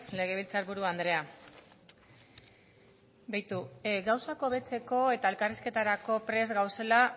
legebiltzar buru andrea begiratu gauzak hobetzeko eta elkarrizketarako prest gaudela